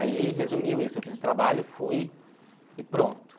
Aí resumiu isso, eu fiz o trabalho, fui e pronto.